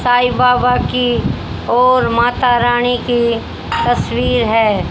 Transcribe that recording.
साईं बाबा की और माता रानी की तस्वीर है।